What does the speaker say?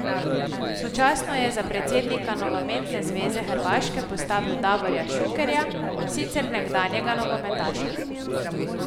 Sočasno je za predsednika Nogometne zveze Hrvaške postavil Davorja Šukerja, sicer nekdanjega nogometaša.